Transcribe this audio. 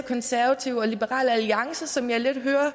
konservative og liberal alliance som jeg lidt hører og